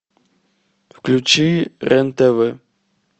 включи рен тв